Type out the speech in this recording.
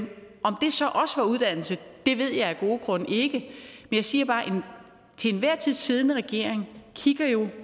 om det så også var på uddannelse ved jeg af gode grunde ikke jeg siger bare at den til enhver tid siddende regering kigger jo